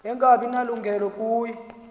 angabi nalungelo kuye